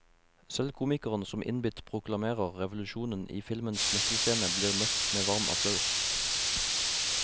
Selv komikeren som innbitt proklamerer revolusjonen i filmens nøkkelscene, blir møtt med varm applaus.